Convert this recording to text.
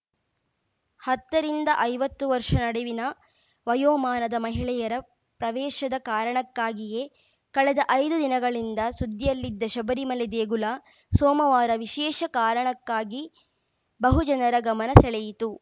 ಹತ್ತ ರಿಂದ ಐವತ್ತು ವರ್ಷ ನಡುವಿನ ವಯೋಮಾನದ ಮಹಿಳೆಯರ ಪ್ರವೇಶದ ಕಾರಣಕ್ಕಾಗಿಯೇ ಕಳೆದ ಐದು ದಿನಗಳಿಂದ ಸುದ್ದಿಯಲ್ಲಿದ್ದ ಶಬರಿಮಲೆ ದೇಗುಲ ಸೋಮವಾರ ವಿಶೇಷ ಕಾರಣಕ್ಕಾಗಿ ಬಹುಜನರ ಗಮನ ಸೆಳೆಯಿತು